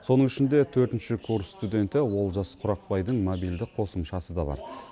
соның ішінде төртінші курс студенті олжас құрақбайдың мобильді қосымшасы да бар